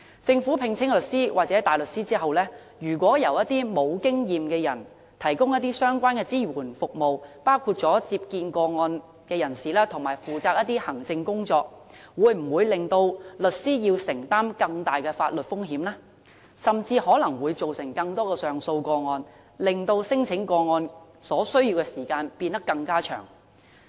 政府聘請律師或大律師後，如果由一些沒有經驗的人提供相關支援服務，包括接見個案人士及負責行政工作等，會否令律師承擔更大的法律風險，甚至可能會造成更多上訴個案，令處理聲請個案所需的時間變得更長？